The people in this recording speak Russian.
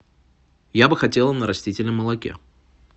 я бы хотела на растительном молоке